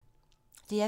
DR P3